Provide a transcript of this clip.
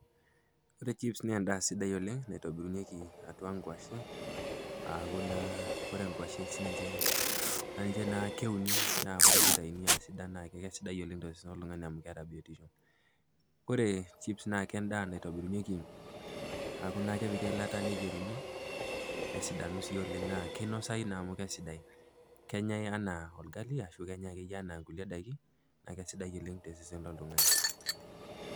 Ore chips na endaa sidai oleng naitobirunyeki atua nkwashen aaku naa ore nkwashen sininche na keuni ore pii itauni asidai oleng tosesen loltungani loltung'ani, kore chips na endaa nakitobirunyeki aaku ake kepiki eilata nitobiruni nesidanu na oleng amu kinasai toi Oleng' amu kaisidai, nenyae anaa orgali ashu enyae sidai oleng tosesen loltung'ani.